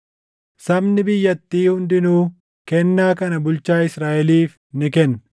Sabni biyyattii hundinuu kennaa kana bulchaa Israaʼeliif ni kenna.